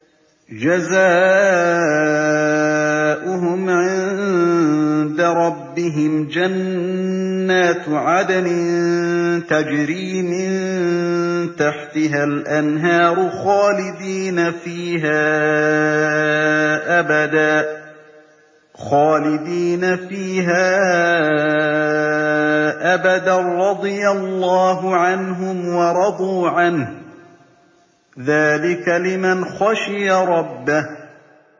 جَزَاؤُهُمْ عِندَ رَبِّهِمْ جَنَّاتُ عَدْنٍ تَجْرِي مِن تَحْتِهَا الْأَنْهَارُ خَالِدِينَ فِيهَا أَبَدًا ۖ رَّضِيَ اللَّهُ عَنْهُمْ وَرَضُوا عَنْهُ ۚ ذَٰلِكَ لِمَنْ خَشِيَ رَبَّهُ